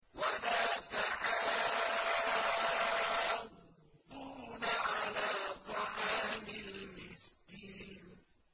وَلَا تَحَاضُّونَ عَلَىٰ طَعَامِ الْمِسْكِينِ